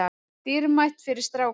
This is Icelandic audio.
Dýrmætt fyrir strákana